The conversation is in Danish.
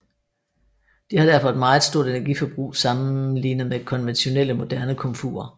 De har derfor et meget stort energiforbrug sammenligne med konventionelle moderne komfurer